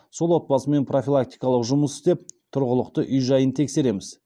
сол отбасымен профилактикалық жұмыс істеп тұрғылықты үй жайын тексереміз